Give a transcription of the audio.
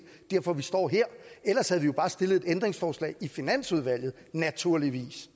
derfor vi står her ellers havde vi jo bare stillet et ændringsforslag i finansudvalget naturligvis